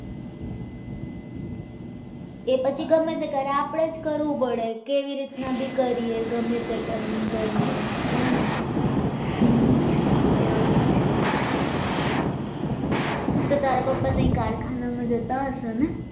કે એવી રીતના ભી કરીએ ગમે તે કરીને કરીએ એવું જ છે તો તારા પપ્પા ત્યાં આગળ કારખાના મેં જતા હશે ને